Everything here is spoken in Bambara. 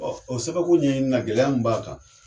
Ɔ o sababuko ɲɛ ɲi na b'a kan